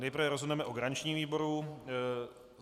Nejprve rozhodneme o garančním výboru.